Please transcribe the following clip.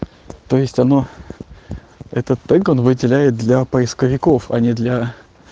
то есть оно этот тэг он выделяет для поисковиков а не для